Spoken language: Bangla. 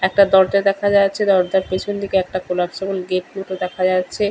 একটা দরজা দেখা যাচ্ছে। দরজার পেছনদিকে একটা কলাপ্সেবল গেট মত দেখা যাচ্ছে।